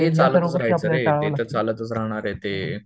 हे चालतच राहायच रे, ते तर चालतच राहणारे ते